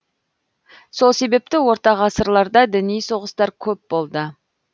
сол себепті ортағасырларда діни соғыстар көп болды